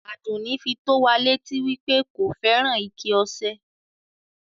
Àdùnì fí tó wà lẹ́tì wí pé kò fẹ́ran ìkẹ̀ ọṣẹ̀.